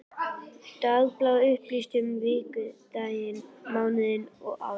Dagblað upplýsti um vikudaginn, mánuðinn, árið.